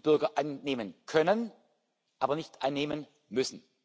including pensions, are not